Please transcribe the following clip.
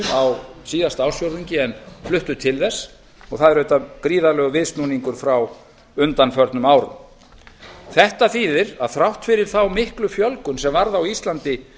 á síðasta ársfjórðungi en fluttust til þess og það er auðvitað gríðarlegur viðsnúningur frá undanförnum árum þetta þýðir að þrátt fyrir þá miklu fjölgun sem varð á íslandi